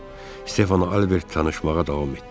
Stefan Albert danışmağa davam etdi.